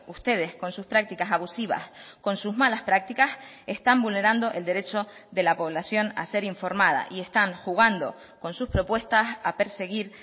ustedes con sus prácticas abusivas con sus malas prácticas están vulnerando el derecho de la población a ser informada y están jugando con sus propuestas a perseguir